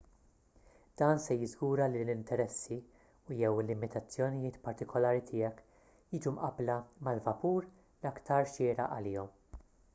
dan se jiżgura li l-interessi u/jew il-limitazzjonijiet partikulari tiegħek jiġu mqabbla mal-vapur l-aktar xieraq għalihom